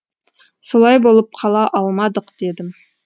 солай болып қала алмадық дедім